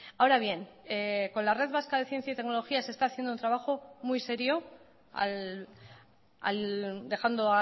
ahora bien con la red vasca de ciencia y tecnología se está haciendo un trabajo muy serio dejando